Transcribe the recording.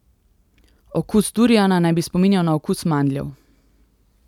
Okus duriana naj bi spominjal na okus mandljev.